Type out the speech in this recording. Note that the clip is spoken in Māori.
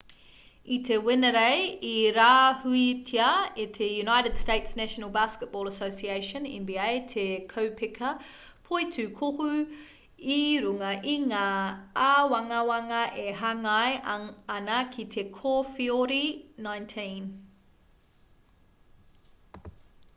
i te wenerei i rāhuitia e te united states' national basketball association nba te kaupeka poitūkohu i runga i ngā āwangawanga e hāngai ana ki te kowheori-19